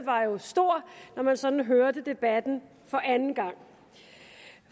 var stor når man sådan hørte debatten for anden gang